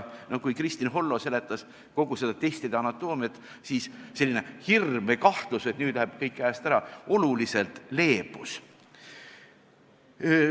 Kui Kristin Hollo seletas kogu seda testide anatoomiat, siis selline hirm või kahtlus, et nüüd läheb kõik käest ära, oluliselt leebus.